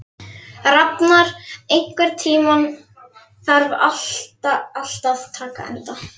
Rafnar, einhvern tímann þarf allt að taka enda.